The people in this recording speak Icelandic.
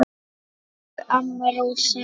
Elsku amma Rósa.